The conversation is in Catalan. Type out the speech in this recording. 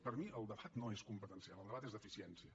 per mi el debat no és competencial el debat és d’eficiència